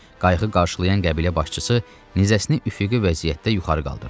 Qayığı qarşılayan qəbilə başçısı nizəsini üfüqi vəziyyətdə yuxarı qaldırdı.